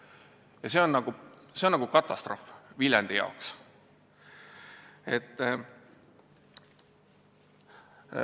Ja see on Viljandi jaoks katastroof.